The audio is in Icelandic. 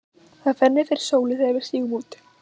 Það fennir fyrir sólu þegar við stígum út.